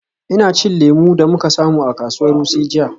Ina cin lemu da muka samu a kasuwar Wuse jiya.